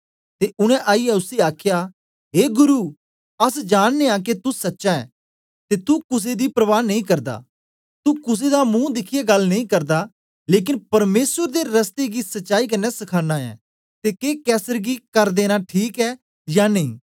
ते उनै आईयै उसी आखया ए गुरु अस जानदे यां के तू सच्चा ऐं ते तू कुसे दी प्रवा नेई करदा तू कुसे दा महू दिखियै गल्ल नेई करदा लेकन परमेसर दे रस्ते गी सच्चाई कन्ने सखाना ऐं ते के कैसर गी कर देना ठीक ऐ या नेई